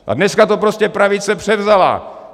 A dneska to prostě pravice převzala.